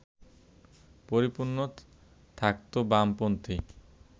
পরিপূর্ণ থাকত বামপন্থী